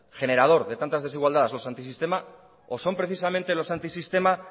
generador de tantas desigualdades somos antisistema o son precisamente los antisistema